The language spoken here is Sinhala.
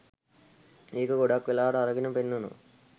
ඒක ගොඩක් වෙලාවට අරගන පෙන්නනවා.